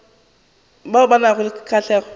bao ba nago le kgahlego